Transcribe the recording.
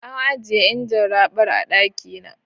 An ajiye injin raɓar a ɗaki na.